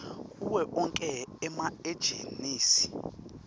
kuwo onkhe emaejensi